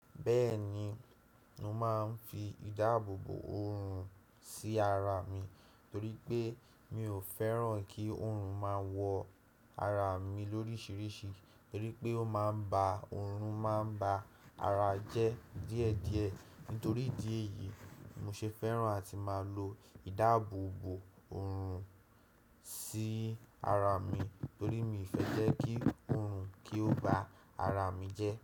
Bẹ́ẹ̀ni, mo máa ń fi ìdáàbòbò òòrùn sí ara mi torí pé, mi ò fẹ́ràn kí òòrùn máa wọ ara mi lórísìírísìí, torí pé ó máa ń ba òòrùn máa ń ba ara jẹ́ díẹ̀díẹ̀. Nítorí ìdí èyí, mo ṣe fẹ́ràn àti máa lò ìdáàbòbò òòrùn si ara mi torí mi fẹ́ jẹ́ kí òòrùn kí ó ba ara mi jẹ́